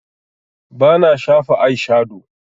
Bana shafa aishado